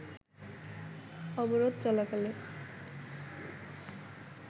অবরোধ চলাকালে